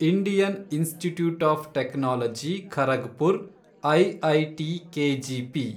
Indian Institute of Technology Kharagpur, IIT KGP